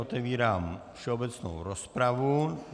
Otevírám všeobecnou rozpravu.